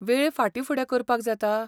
वेळ फाटींफुडें करपाक जाता?